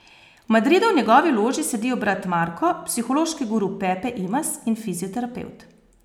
V Madridu v njegovi loži sedijo brat Marko, psihološki guru Pepe Imaz in fizioterapevt.